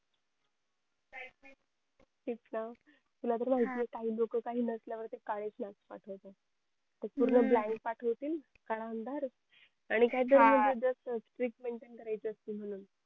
ते चं न तुला तर माहिती आहे काही लोकं काही नसल्यावरती काहीच नाही पाठवत ते पूर्ण blank पाठवतील काळा अंधार आणि काही तरी म्हणजे जस